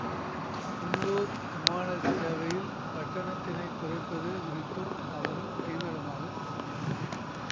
உள்ளூர் விமான சேவையில் கட்டணத்தினைக் குறைப்பது குறித்தும் அவர்கள் தீவிரமாக சிந்தித்தனர்